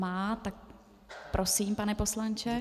Má, takže prosím, pane poslanče.